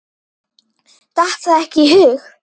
Datt það ekki í hug.